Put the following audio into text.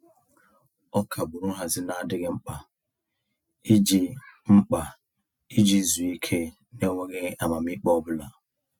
Ọ kagburu nhazị n'adịghị mkpa iji mkpa iji zuo ike n'enweghị amamiikpe ọbụla.